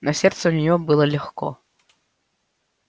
на сердце у нее было легко